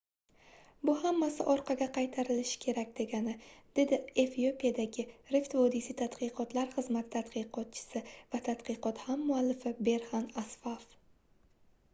bu hammasi orqaga qaytarilishi kerak degani dedi efiopiyadagi rift vodiysi tadqiqotlar xizmati taqdidotchisi va tadqiqot hammuallifi berxan asfav